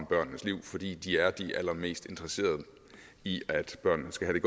børnenes liv fordi de er de allermest interesserede i at børnene skal have